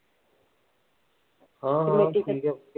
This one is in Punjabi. ਹਾਂ ਹਾਂ ਠੀਕ ਐ